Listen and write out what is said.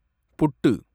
புட்டு